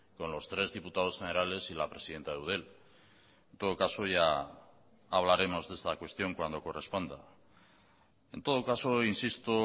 con los tres diputados generales y la presidenta de eudel en todo caso ya hablaremos de esta cuestión cuando corresponda en todo caso insisto